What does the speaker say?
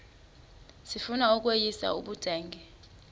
sifuna ukweyis ubudenge